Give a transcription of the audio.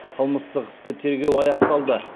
қылмыстық істі тергеу аяқталды